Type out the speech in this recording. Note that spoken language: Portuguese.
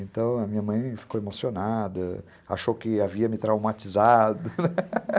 Então, a minha mãe ficou emocionada, achou que havia me traumatizado, né?